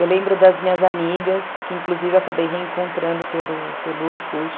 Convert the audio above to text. Eu lembro das minhas amigas, que inclusive eu acabei reencontrando pelo pelo Orkut.